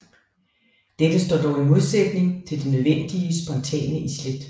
Dette står dog i modsætning til det nødvendige spontane islæt